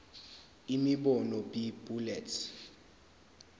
imibono b bullets